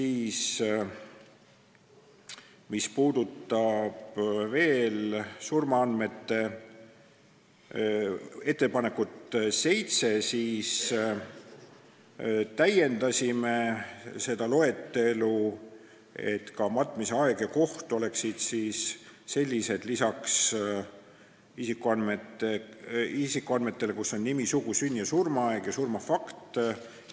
Seitsmenda ettepanekuga me täiendasime surmaandmete loetelu, et ka matmise aeg ja koht oleksid mainitud lisaks isikuandmetele, milleks on nimi, sugu, sünni- ja surmaaeg ning surma fakt.